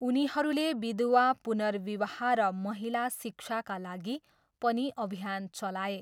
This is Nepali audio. उनीहरूले विधवा पुनर्विवाह र महिला शिक्षाका लागि पनि अभियान चलाए।